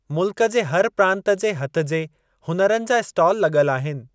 मुल्क जे हर प्रांत जे हथजे हुनरनि जा इस्टाल लग॒ल आहिनि।